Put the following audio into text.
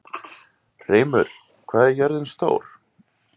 Hreimur, hvað er jörðin stór?